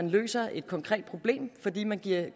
løser et konkret problem fordi man